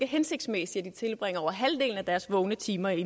hensigtsmæssigt at de tilbringer over halvdelen af deres vågne timer i